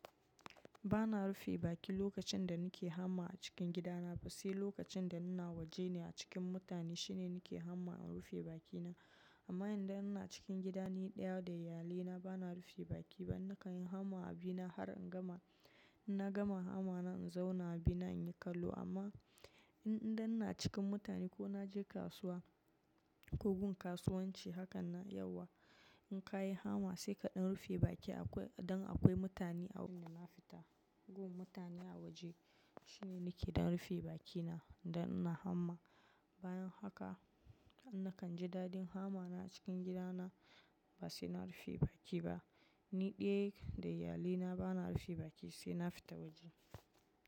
Ba na rufe baki lokacin da ni ke hamma a cikin gidana ba, sai lokacin da ina waje ne a cikin mutane shine ni ke hamma in rufe bakina. Amma idan ina cikin gida ni ɗaya da iyalina, ba na rufe baki ba. Nakan yi hamma a bina har in gama. In na gama hammana in zauna abina in yi kallo. Amma in idan ina cikin mutane ko na je kasuwa ko gun kasuwanci hakan nan, yauwa in ka yi hamma sai ka ɗan rufe baki akwai-- don akwai mutane a wurin da na fita. Gun mutane a waje shine ni ke ɗan rufe bakina idan ina hamma. Bayan haka nakan ji daɗin hammana a cikin gidana ba sai na rufe baki ba. Ni ɗaya da iyalina ba na rufe baki sai na fita waje.